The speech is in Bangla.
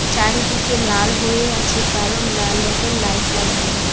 চারিদিকে লাল হয়ে আছে কারণ লাল রঙের লাইট লাগানো।